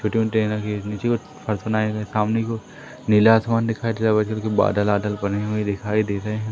फर्श बनाये गए सामने कि ओर नीला आसमान दिखाई दे रहा है व्हाइट कलर के बादल आदल बने हुए दिखाई दे रहे--